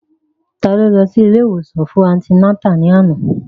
Ta ló lọ sí ilé ìwòsàn fún antinátà ní àná?